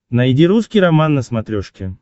найди русский роман на смотрешке